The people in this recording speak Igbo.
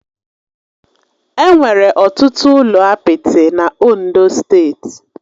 Enwere ọtụtụ ụlọ apịtị na Ondo steeti